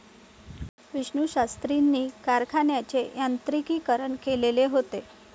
विष्णूशास्त्रींनी कारखान्याचे यांत्रिकीकरण केलेले होते.